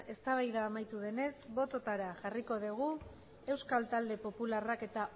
eztabaida amaitu denez bototara jarriko dugu euskal talde popularrak eta